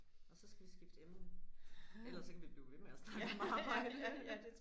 Og så skal vi skifte emne ellers så kan vi blive ved med at snakke om arbejde